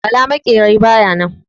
Bala maƙera baya nan.